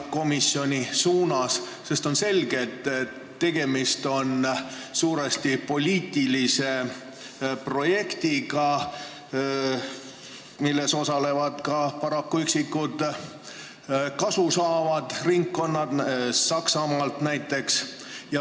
On ju selge, et tegemist on suurel määral poliitilise projektiga, milles osalevad paraku ka üksikud kasu saavad ringkonnad Saksamaalt.